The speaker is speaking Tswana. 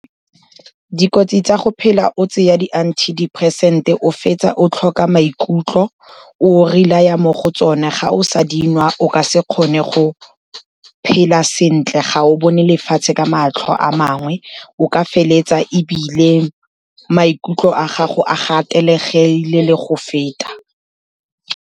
Dikotsi tsa go phela o tseya di-antidepressant-e o fetsa o tlhoka maikutlo, o relaya mo go tsone. Ga o sa dinwa o ka se kgone go phela sentle, ga o bone lefatshe ka matlho a mangwe, o ka feleletsa ebile maikutlo a gago a gatelegile le go feta.